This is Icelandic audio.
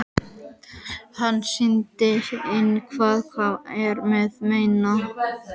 Hann sýndi henni hvað hann var að meina.